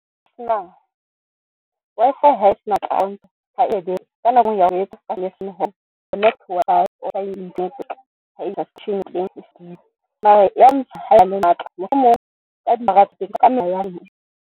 Sena Wi-Fi ha se na account mohlomong.